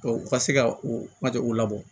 u ka se ka u mat u labɔ